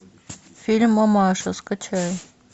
фильм мамаша скачай